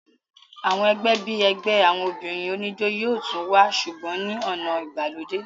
àwọn ẹgbẹ́ bíi ẹgbẹ́ àwọn obìnrin oníjó yóò tún wà sùgbọ́n ní ọ̀nà ìgbàlódé